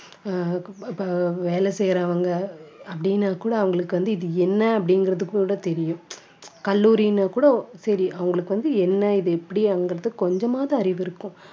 அஹ் இப்ப வேலை செய்யறவங்க அப்படின்னு கூட அவங்களுக்கு வந்து இது என்ன அப்படிங்கிறது கூட தெரியும் கல்லூரின்னு கூட சரி அவங்களுக்கு வந்து என்ன இது எப்படிங்கிறது கொஞ்சமாவது அறிவு இருக்கும்